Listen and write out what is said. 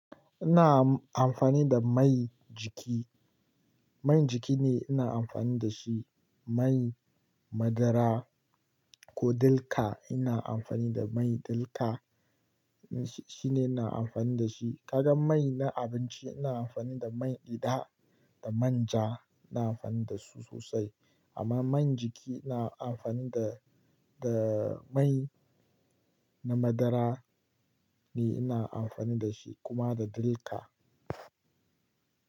Ina amfani da mai jiki. Man jiki ne ina amfani da shi. Mai madara ko dilka, ina amfani da mai dilka. Shine ina amfani da shi. Kaga mai na abinci ina amfani da mai gyida da manja ina amfani da su sosai. Amma mai jiki ina amfani da, da mai na madara ne ina amfani da shi kuma da dilka.